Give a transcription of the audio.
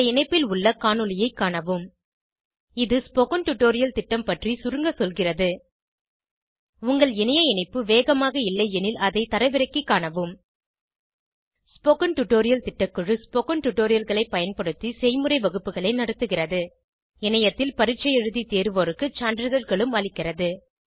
இந்த இணைப்பில் உள்ள காணொளியைக் காணவும் இது ஸ்போகன் டுடோரியல் திட்டம் பற்றி சுருங்க சொல்கிறது உங்கள் இணைய இணைப்பு வேகமாக இல்லையெனில் அதை தரவிறக்கிக் காணவும் ஸ்போகன் டுடோரியல் திட்டக்குழு ஸ்போகன் டுடோரியல்களைப் பயன்படுத்தி செய்முறை வகுப்புகள் நடத்துகிறது இணையத்தில் பரீட்சை எழுதி தேர்வோருக்கு சான்றிதழ்களும் அளிக்கிறது